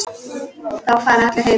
Þá fara allir heim.